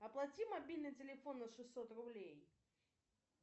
оплати мобильный телефон на шестьсот рублей